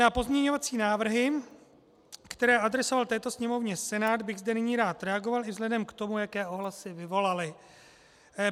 Na pozměňovací návrhy, které adresoval této Sněmovně Senát, bych zde nyní rád reagoval i vzhledem k tomu, jaké ohlasy vyvolaly.